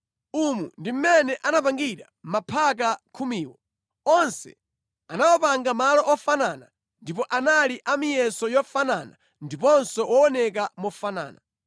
Umu ndi mmene anapangira maphaka khumiwo. Onse anawapanga malo ofanana ndipo anali a miyeso yofanana ndiponso wooneka mofanana.